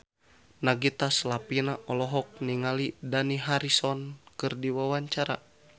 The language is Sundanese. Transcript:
Nagita Slavina olohok ningali Dani Harrison keur diwawancara